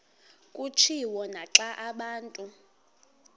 kutshiwo naxa abantu